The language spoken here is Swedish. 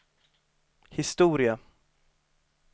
historia